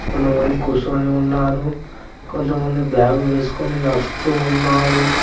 కొంతమంది కూసోని ఉన్నారు కొంతమంది బ్యాగు వేసుకుని నడుస్తూ ఉన్నారు.